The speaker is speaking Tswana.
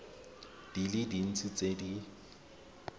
di le dintsi tse di